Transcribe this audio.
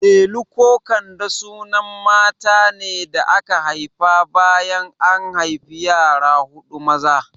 Delu ko Kande sunan matane da aka haifa bayan an haifi yara huɗu maza